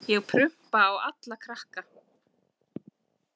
Ég prumpa á alla krakka.